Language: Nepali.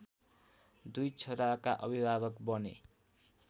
दुई छोराका अभिभावक बने।